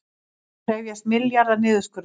Krefjast milljarða niðurskurðar